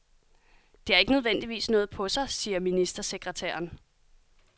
Det har ikke nødvendigvis noget på sig, siger ministersekretæren.